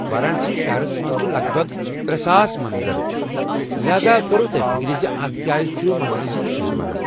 وارانسی شہرس منٛز چھ لگ بگ ترے ساس مندر، لہذا توروٕ توہہِ فِكرِ اتھ کیٛازِ چھ مندرن ہٗنٛد شہر ونان